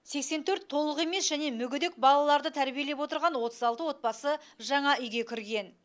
сексен төрт толық емес және мүгедек балаларды тәрбиелеп отырған отыз алты отбасы жаңа үйге кірген